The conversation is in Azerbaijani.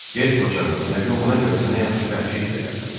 Get qocağım, yəqin buna görə sənə yaxşı bəxşiş verərlər.